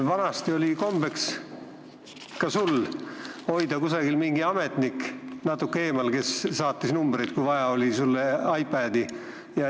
Vanasti oli kombeks, ka sul, hoida kusagil lähedal keegi ametnik, kes saatis numbreid, kui vaja oli, iPadi.